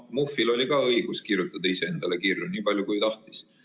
Muhvil oli ka õigus kirjutada ise endale kirju, niipalju kui tahtis.